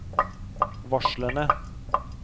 varslene